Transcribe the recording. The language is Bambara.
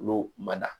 Olu ma da